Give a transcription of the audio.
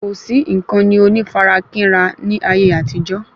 Kò sí ìkànnì onífarakínra ní ayé àtijó